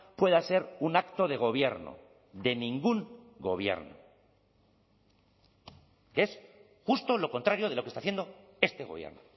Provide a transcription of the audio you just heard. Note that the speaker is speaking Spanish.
pueda ser un acto de gobierno de ningún gobierno que es justo lo contrario de lo que está haciendo este gobierno